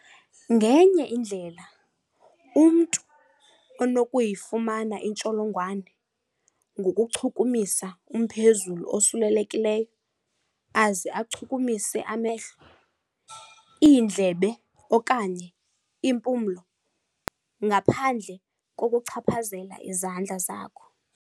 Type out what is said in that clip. Ngenye indlela umntu unokuyifumana intsholongwane ngokuchukumisa umphezulu osulelekileyo aze achukumise amehlo, iindlebe okanye impumlo ngaphandle kokuchaphazela izandla zakho.